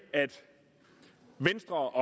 og